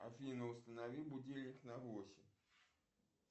афина установи будильник на восемь